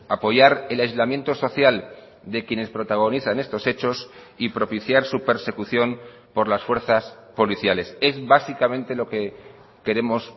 apoyar el aislamiento social de quienes protagonizan estos hechos y propiciar su persecución por las fuerzas policiales es básicamente lo que queremos